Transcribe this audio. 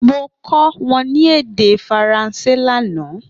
Mo kọ wọn ni ede Faranse lana